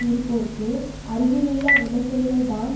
இருப்போர்க்கு அருகிலுள்ள அமைச்சர்கள்தான்